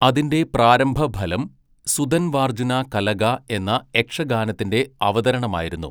അതിന്റെ പ്രാരംഭ ഫലം 'സുദൻവാർജുന കലഗ' എന്ന യക്ഷഗാനത്തിന്റെ അവതരണമായിരുന്നു.